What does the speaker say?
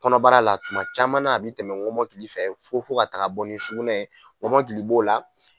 Kɔnɔbara la tuma caman na a bɛ tɛmɛ ŋɔmɔkili fɛ fo fo ka taga bɔ nin sugunɛ ye ŋɔmɔkili b'o la.